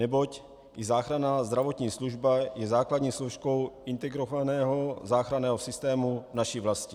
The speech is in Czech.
Neboť i záchranná zdravotní služba je základní složkou integrovaného záchranného systému naší vlasti.